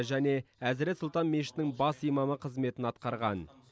және әзірет сұлтан мешітінің бас имамы қызметін атқарған